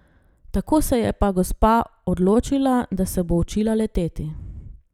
Tako se je pa gospa odločila, da se bo učila leteti.